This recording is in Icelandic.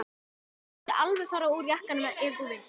Og svo máttu alveg fara úr jakkanum ef þú vilt.